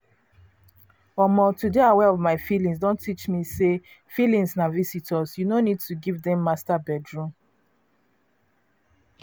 omo to dey aware of myself don teach teach me say feelings na visitors you no need to give dem master bedroom.